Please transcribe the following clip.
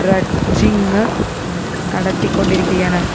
dredging നടത്തിക്കൊണ്ടിരിക്കുകയാണ്